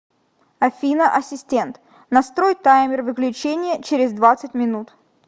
афина ассистент настрой таймер выключения через двадцать минут